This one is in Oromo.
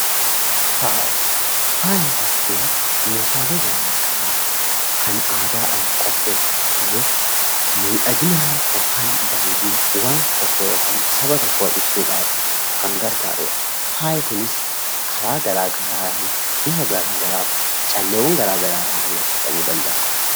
Faaya Faaya jechuun meeshaalee garaagaraa kan aadaadhaan qopheeffamu ta'ee, miidhagina (bareedina) wanta tokkoo yookaan saba tokkoo ibsuudhaaf kan gargaaru dha. Faayi kunis karaa garaagaraan bifa garaagaraa fi calleewwan garaagaraadhaan agarsiifamuu danda'a.